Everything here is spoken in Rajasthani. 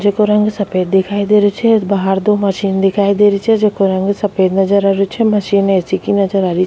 जेको रंग सफेद दिखाई दे रेहो छे बाहर दो मशीन दिखाई दे री छे जेको रंग सफेद नजर आ रेहो छे मशीन ऐ.सी. की नजर आ री।